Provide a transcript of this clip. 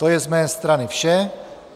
To je z mé strany vše.